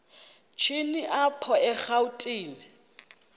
shini apho erawutini